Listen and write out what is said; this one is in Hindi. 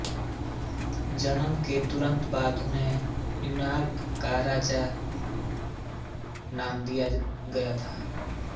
जन्म के तुरंत बाद उन्हें न्यूयॉर्क का राजा का नाम दिया गया था